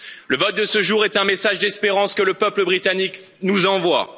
Le vote de ce jour est un message d'espérance que le peuple britannique nous envoie.